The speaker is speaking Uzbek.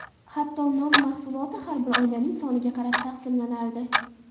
Hatto, non mahsuloti har bir oilaning soniga qarab taqsimlanardi.